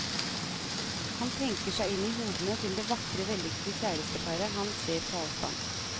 Han tenker seg inn i hodene til det vakre vellykkede kjæresteparet han ser på avstand.